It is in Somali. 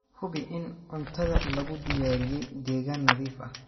Hubi in cuntada lagu diyaariyay deegaan nadiif ah.